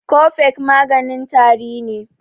Cofex maganin tari ne